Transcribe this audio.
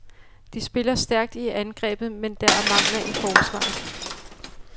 De spiller stærkt i angrebet, men der er mangler i forsvaret.